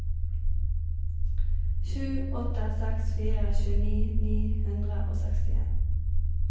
sju åtte seks fire tjueni ni hundre og sekstien